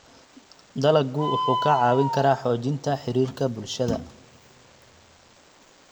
Dalaggu wuxuu kaa caawin karaa xoojinta xiriirka bulshada.